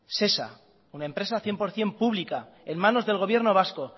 shesa una empresa cien por cien pública en manos del gobierno vasco